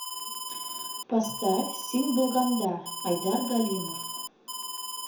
поставь син булганда айдар галимов